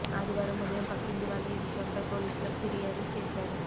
ఆదివారం ఉదయం పక్కంటి వాళ్లు ఈ విషయంపై పోలీసులకు ఫిర్యాదు చేశారు